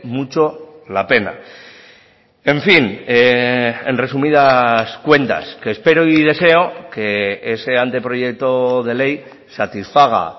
mucho la pena en fin en resumidas cuentas que espero y deseo que ese anteproyecto de ley satisfaga